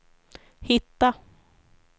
hitta